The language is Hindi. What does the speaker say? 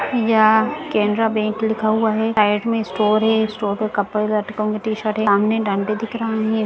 यह केनरा बैंक लिखा हुआ है साइड में स्टोर है स्टोर में कपल - लड़कों के टी-शर्ट हैं सामने डंडे दिख रहे हैं।